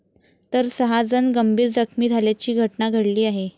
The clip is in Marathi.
तर सहा जण गंभीर जखमी झाल्याची घटना घडली आहे.